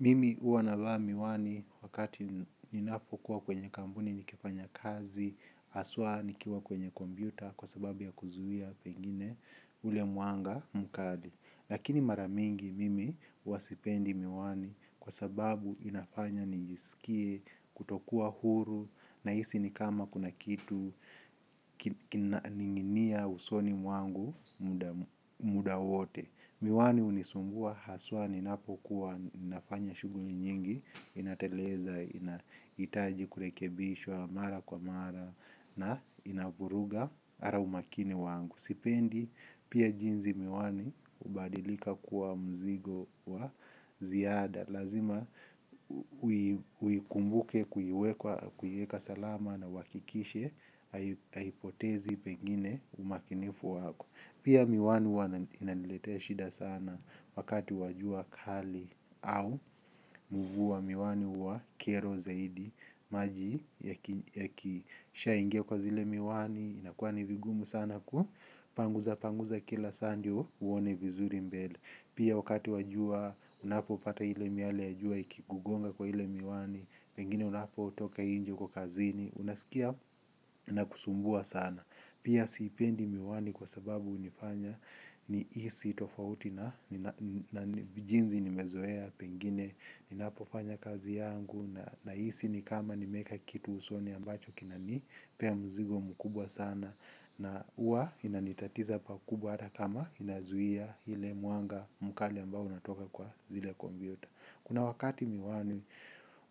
Mimi uanavaa miwani wakati ninapokuwa kwenye kambuni, nikifanya kazi, aswa nikiwa kwenye kombiuta kwa sababu ya kuzuia pengine ule mwanga mkali. Lakini maramingi mimi wasipendi miwani kwa sababu inafanya nijisikie, kutokuwa huru, na hisi ni kama kuna kitu, ninginia usoni mwangu muda wote. Miwani unisumbua, haswani napo kuwa nafanya shuguli nyingi, inateleza, ina itaji kurekebishwa, mara kwa mara, na inaburuga ara umakini wangu. Sipendi, pia jinzi miwani, ubadilika kuwa mzigo wa ziada. Lazima, uikumbuke kuiweka salama na uwakikishe, haipotezi pengine umakinifu wako. Pia miwani wana inalilete shida sana wakati wajua kali au mvua miwani wa kiero zaidi. Maji ya kisha ingia kwa zile miwani inakuwa ni vigumu sana kua panguza panguza kila sandyo uone vizuri mbele. Pia wakati wajua unapo pata hile miali yajua ikigugonga kwa hile miwani. Pengine unapo utoka inje kwa kazini unaskia na kusumbua sana. Pia siipendi miwani kwa sababu unifanya ni isi tofauti na jinzi nimezoea pengine ninapo fanya kazi yayangu nahisi kama nimeeka kitu usoni ambacho kinanippea mzigo mkubwa sana na huwa inanitatiza pakubwa hata kama inazuhia ile mwanga mkali ambayo inatoka kwa zile kompyuta. Kuna wakati miwani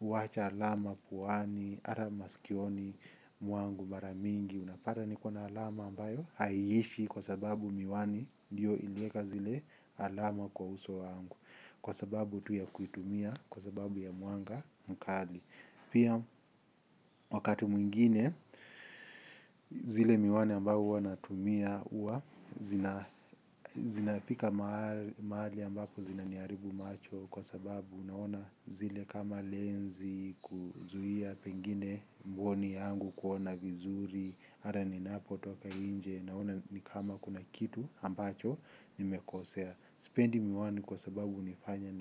uwacha alama puwani ara masikioni mwangu mara mingi unapata niklo na alama amabayo aishi sababu miwani ndio iliweka zile alama kwa uso wangu kwa sababu tu ya kuitumia kwa sababu ya mwanga pia wakati mwingine zile miwani ambayo huwanatumia uwa zinafika maali ambapo zina niaribu macho. Kwa sababu unaona zile kama lenzi kuzuhia pengine mboni yangu kuona vizuri. Ara ni napo toka inje naona ni kama kuna kitu ambacho nimekosea. Sipendi miwani kwa sababu nifanya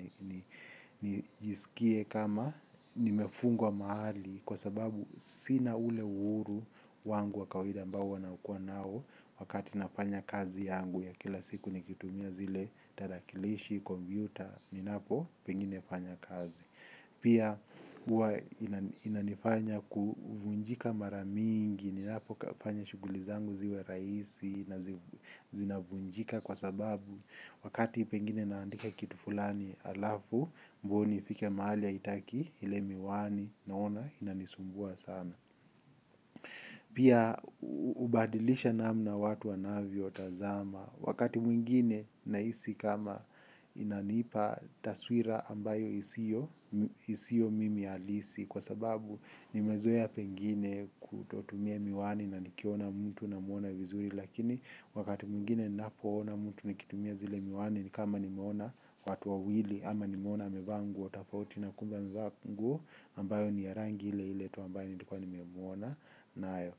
nijisikie kama nimefungwa maali. Kwa sababu sina ule uhuru wangu wakawida ambao wanaukua nao. Wakati nafanya kazi yangu ya kila siku nikitumia zile tarakilishi, kombiuta, ni napo penginefanya kazi. Pia uwa inanifanya kuvunjika maramingi, nilapo kufanya shuguli zangu ziwe raisi na zina vunjika kwa sababu wakati pengine naandika kitu fulani alafu mbuni fike maali ya itaki ile miwani naona inanisumbua sana. Pia ubadilisha namna watu wanavyo tazama wakati mwingine na isi kama inanipa taswira ambayo isio mimi alisi kwa sababu ni mezoea pengine kutotumia miwani na nikiona mtu na muona vizuri lakini wakati mwingine napo ona mtu nikitumia zile miwani ni kama ni muona watu wa wili ama ni muona mevaa nguo tafauti na kumbe mevaa nguo ambayo ni yarangile iletu ambayo ni kwa ni muona. Nayo,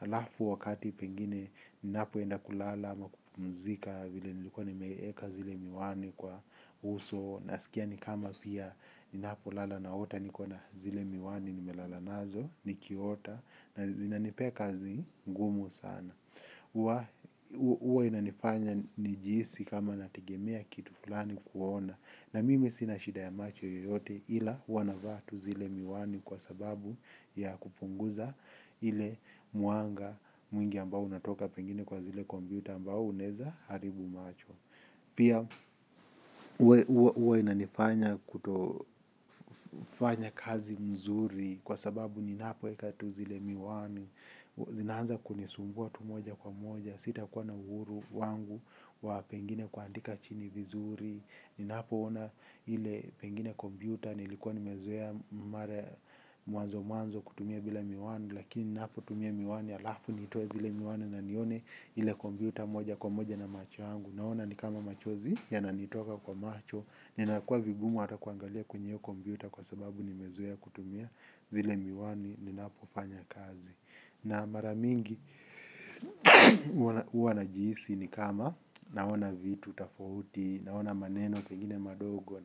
alafu wakati pengine ni napo enda kulala ama kupmzika vile nilikuwa ni meeka zile miwani kwa uso. Na sikia ni kama pia ni napo lala na ota ni kwa na zile miwani ni melala nazo, ni kiota. Na zina nipea kazi ngumu sana. Uwa inanifanya nijisi kama natigemea kitu fulani kuona. Na mimi sina shida ya macho yoyote ila wana vaa tu zile miwani kwa sababu ya kupunguza ile mwanga mwingi ambao unatoka pengine kwa zile kombiuta ambao uneza haribu macho. Pia uwa inanifanya kutofanya kazi mzuri kwa sababu ni napo eka tu zile miwani, zinanza kunisumbua tu moja kwa moja, sita kwa na uhuru wangu wa pengine kuandika chini vizuri. Ninapo ona hile pengine kombiuta, nilikuwa nimezoea mwanzo mwanzo kutumia bila miwani. Lakini ninapo tumia miwani, alafu nitoe zile miwani na nione hile kombiuta moja kwa moja na macho yangu. Naona nikama machozi ya nanitoka kwa macho, ninakua vigumu atakuangalia kwenye hio kombiuta. Kwa sababu nimezoea kutumia zile miwani, ninapo fanya kazi na mara nyingi huwa najiisi ni kama naona vitu tofauti naona maneno pengine madogo.